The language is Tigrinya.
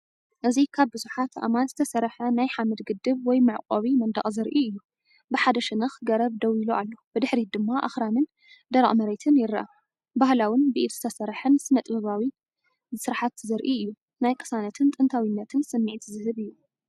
እዚ ካብ ብዙሓት ኣእማን ዝተሰርሐ ናይ ሓመድ ግድብ ወይ መዕቆቢ መንደቕ ዘርኢ እዩ። ብሓደ ሸነኽ ገረብ ደው ኢሉ ኣሎ፣ ብድሕሪት ድማ ኣኽራንን ደረቕ መሬትን ይርአ። ባህላውን ብኢድ ዝተሰርሐን ስነ-ጥበባዊ ስርሓት ዘርኢ ኮይኑ፡ ናይ ቅሳነትን ጥንታዊነትን ስምዒት ዝህብ እዩ።